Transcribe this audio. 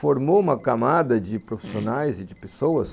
formou uma camada de profissionais e de pessoas.